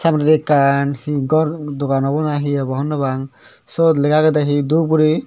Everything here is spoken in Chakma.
taburedi ekkan he gor dogan obo na hi obow hobonopang siot lega agedey he dub guri.